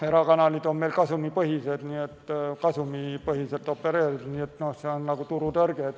Erakanalid on kasumipõhiselt opereerivad, nii et see on nagu turutõrge.